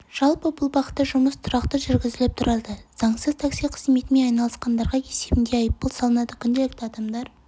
жалпы бұл бағытта жұмыс тұрақты жүргізіліп тұрады заңсыз такси қызметімен айналысқандарға есебінде айыппұл салынады күнделікті адамдар